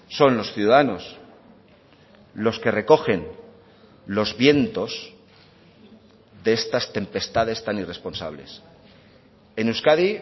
son los ciudadanos los que recogen los vientos de estas tempestades tan irresponsables en euskadi